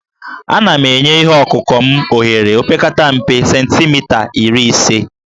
Ana m enye ihe ọkụkụ m ohere opekata mpe cemtimita iri ise